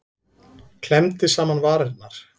Klemmdi saman varirnar.